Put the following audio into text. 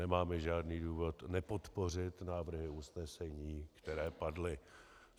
Nemáme žádný důvod nepodpořit návrhy usnesení, které padly.